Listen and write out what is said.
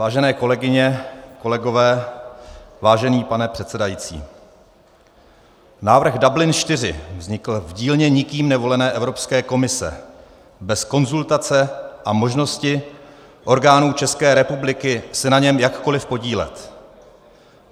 Vážené kolegyně, kolegové, vážený pane předsedající, návrh Dublin IV vznikl v dílně nikým nevolené Evropské komise bez konzultace a možnosti orgánů České republiky se na něm jakkoliv podílet.